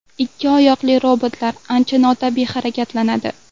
Ikki oyoqli robotlar ancha notabiiy harakatlanadi.